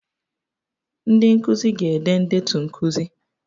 Ndị nkuzi ga-ede ndetu nkuzi